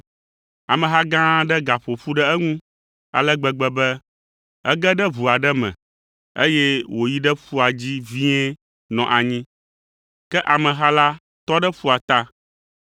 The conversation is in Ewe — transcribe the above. Ameha gã aɖe gaƒo ƒu ɖe eŋu ale gbegbe be ege ɖe ʋu aɖe me, eye wòyi ɖe ƒua dzi vie nɔ anyi, ke ameha la tɔ ɖe ƒua ta.